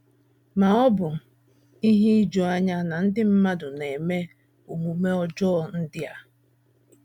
Ma ọ̀ bụ ihe ijuanya na ndị mmadụ na - eme omume ọjọọ ndị a?